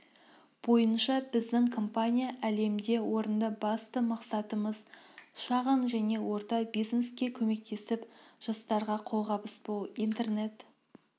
бойынша біздің компания әлемде орында басты мақсатымыз шағын және орта бизнеске көмектесіп жастарға қолғабыс болу интернет